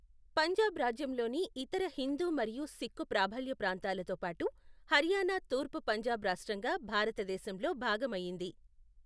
పంజాబ్ రాజ్యంలోని ఇతర హిందూ మరియు సిక్కు ప్రాబల్య ప్రాంతాలతో పాటు హర్యానా తూర్పు పంజాబ్ రాష్ట్రంగా భారతదేశంలో భాగమయ్యింది.